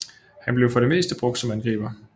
Han blev for det meste brugt som angriber